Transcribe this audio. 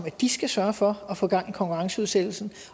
at de skal sørge for at få gang i konkurrenceudsættelsen